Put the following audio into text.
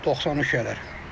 93 eləyər.